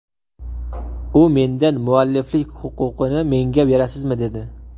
U mendan mualliflik huquqini menga berasizmi, dedi.